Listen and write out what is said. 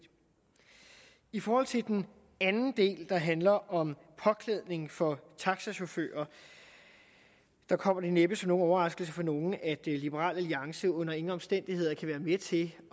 i forhold til den anden del der handler om påklædning for taxachauffører kommer det næppe som nogen overraskelse for nogen at liberal alliance under ingen omstændigheder kan være med til